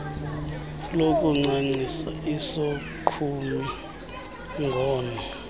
lokuncancisa isogqumi ngono